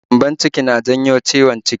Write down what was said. Gyambon-ciki na janyo ciwon ciki